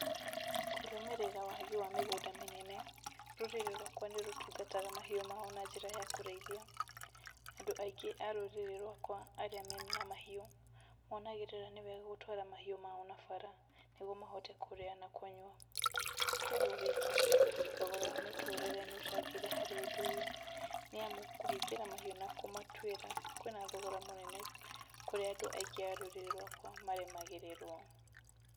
Kũrũmĩrĩra wagi wa mĩgũnda mĩnene, rũrĩrĩ rwakwa nĩ rũtungataga mahiũ mao na njĩra ya kũrĩithia. Andũ aingĩ a rũrĩrĩ rwakwa arĩa mena mahiũ, monagĩrĩra nĩ wega gũtwara mahiũ mao na bara, nĩguo mahote kũrĩa na kũnyua. To ũguo wiki, thogora wa mũtũrĩre nĩ ũcangĩre harĩ ũndũ ũyũ. Nĩ amu kũhingĩra mahiũ na kũmatuĩra, kwĩna thogora mũnene, kũrĩa andũ aingĩ a rũrũrĩ rwakwa maremagĩrĩrwo.